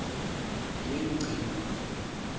yengci